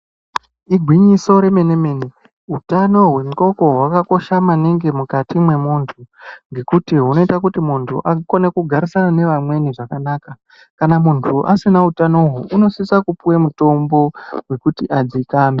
Igwinyiso remene mene hutano hwehloko hwakakosha kwemene mukati hwemuntu ngekuti hunoita kuti akone kugarisana neamweni zvakanaka kana muntu asina hutano uhu anosisa kupuwa mutombo wekuti adzikame.